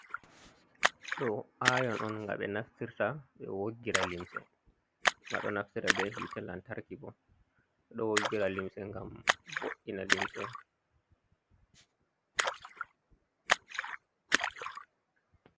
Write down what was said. Ɗo aayon on, nga ɓe naftirta, ɓe woggira limse, nga ɗo naftira be yiite lantarki bo. Ɗo woggira limse, ngam vo’’ina limse.